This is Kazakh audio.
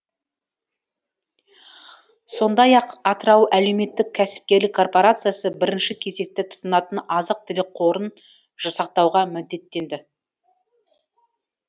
сондай ақ атырау әлеуметтік кәсіпкерлік корпорациясы бірінші кезекте тұтынатын азық түлік қорын жасақтауға міндеттенді